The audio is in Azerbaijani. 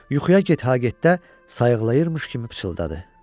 Yuxuya get-ha-getdə sayıqlayırmış kimi pıçıldadı.